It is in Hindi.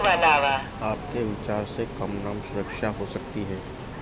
आपके विचार से कम नाम सुरक्षा हो सकती है